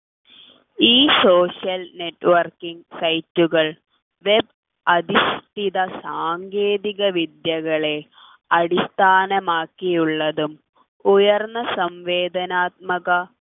ഈ social networking site കൾ web അധിഷ്ഠിത സാങ്കേതികവിദ്യകളെ അടിസ്ഥാനമാക്കിയുള്ളതും ഉയർന്ന സംവേദനാത്മക